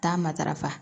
Taa matarafa